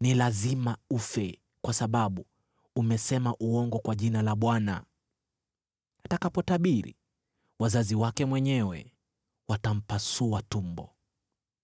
‘Ni lazima ufe, kwa sababu umesema uongo kwa jina la Bwana .’ Atakapotabiri, wazazi wake mwenyewe watampasua tumbo.